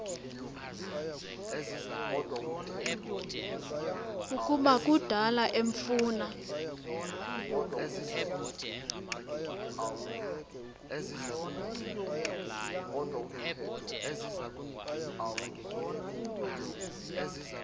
ukuba kudala emfuna